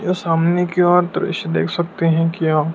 यह सामने की ओर दृश्य देख सकते हैं क्या?